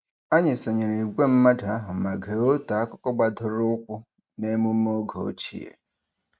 Anyị sonyere ìgwè mmadụ ahụ ma gee otu akụkọ gbadoroụkwụ n'emume oge ochie.